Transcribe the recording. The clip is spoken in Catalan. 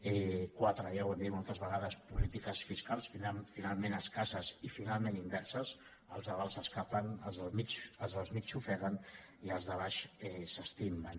quatre ja ho hem dit moltes vegades polítiques fiscals finalment escasses i finalment inverses els de dalt s’escapen els del mig s’ofeguen i els de baix s’estimben